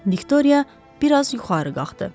Viktoriya biraz yuxarı qalxdı.